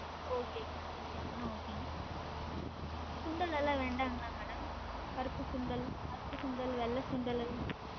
Okay ங்க madam okay அப்பனா okay ங்க சுண்டளெல்லாம் வேண்டாங்களா madam? கருப்பு சுண்டல், கருப்பு சுண்டல், வெள்ள சுண்டல்